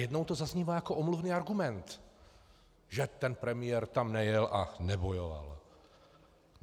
Najednou to zaznívá jako omluvný argument, že ten premiér tam nejel a nebojoval.